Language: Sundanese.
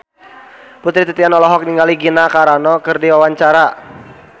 Putri Titian olohok ningali Gina Carano keur diwawancara